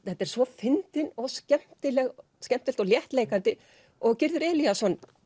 þetta er svo fyndið og skemmtilegt skemmtilegt og léttleikandi og Gyrðir Elíasson